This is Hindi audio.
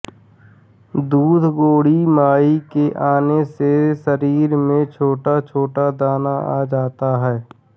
दूध गोड़ी माई के आने से शरीर में छोटाछोटा दाना आ जाता है